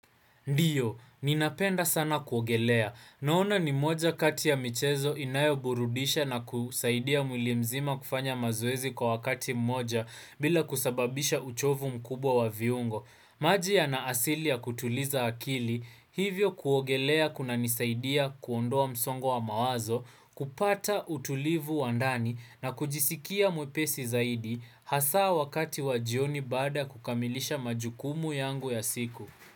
Ndiyo, ninapenda sana kuogelea. Naona ni moja kati ya michezo inayo burudisha na kusaidia mwilimzima kufanya mazoezi kwa wakati mmoja bila kusababisha uchovu mkubwa wa viungo. Maji yana asili ya kutuliza akili, hivyo kuogelea kuna nisaidia kuondoa msongo mawazo, kupata utulivu wandani na kujisikia mwepesi zaidi hasaa wakati wajioni baada kukamilisha majukumu yangu ya siku.